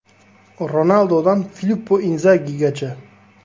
Ronaldodan Filippo Inzagigacha.